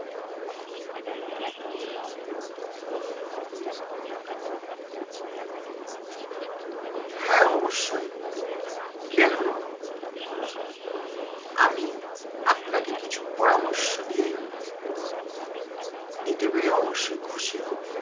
হ্যাঁ অবশ্যই কেন নয়? আমি আপনাকে কিছু পরামর্শ দিয়ে দিতে পেরে অবশ্যই খুশি হব।